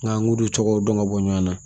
Nka an k'u duncogo dɔn ka bɔ ɲɔn na